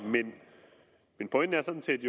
sådan set